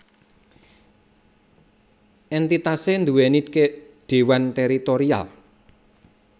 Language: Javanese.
Entitasé nduwèni dewan tèritorial